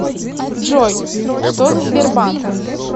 джой что за сбербанк